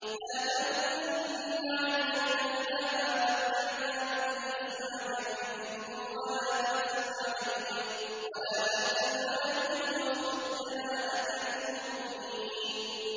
لَا تَمُدَّنَّ عَيْنَيْكَ إِلَىٰ مَا مَتَّعْنَا بِهِ أَزْوَاجًا مِّنْهُمْ وَلَا تَحْزَنْ عَلَيْهِمْ وَاخْفِضْ جَنَاحَكَ لِلْمُؤْمِنِينَ